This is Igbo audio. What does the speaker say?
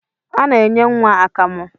A na-enye nwa akamụ